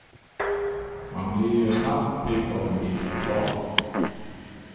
Man blir ju snabbt pigg av en bit choklad.